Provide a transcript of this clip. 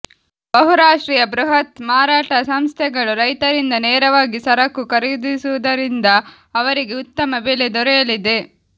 ಬಹುರಾಷ್ಟ್ರೀಯ ಬೃಹತ್ ಮಾರಾಟ ಸಂಸ್ಥೆಗಳು ರೈತರಿಂದ ನೇರವಾಗಿ ಸರಕು ಖರೀದಿಸುವುದರಿಂದ ಅವರಿಗೆ ಉತ್ತಮ ಬೆಲೆ ದೊರೆಯಲಿದೆ